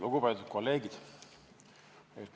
Lugupeetud kolleegid!